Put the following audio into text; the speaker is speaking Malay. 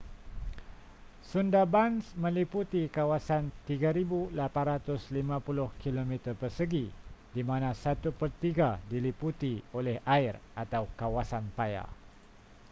sundarbans meliputi kawasan 3,850 km², di mana satu pertiga diliputi oleh air/kawasan paya